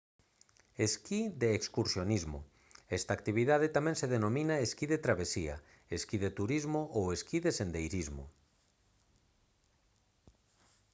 esquí de excursionismo esta actividade tamén se denomina esquí de travesía esquí de turismo ou esquí de sendeirismo